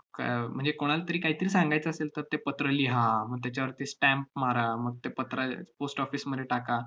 क~ अह म्हणजे कोणालातरी काहीतरी सांगायचं असेल, तर ते पत्र लिहा, मग त्याच्यावरती stamp मारा, मग ते पत्र अह post office मध्ये टाका,